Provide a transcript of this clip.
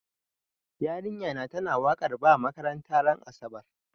Yarinya na ta na wakar ba makaranta ran asabar